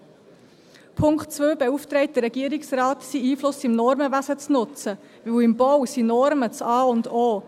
Der Punkt 2 beauftragt den Regierungsrat, seinen Einfluss im Normenwesen zu nutzen, denn im Bau sind Normen das A und O.